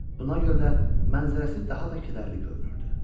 Buna görə də mənzərəsi daha da kədərli görünürdü.